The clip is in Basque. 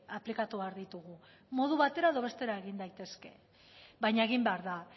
aplikatu behar ditugu modu batera edo bestera egin daitezke baina egin behar da